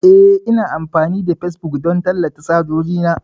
Eh, Ina amfani da facebook don tallata hajoji na.